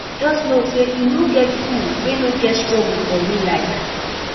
jus no sey e no get who wey no get struggle for real life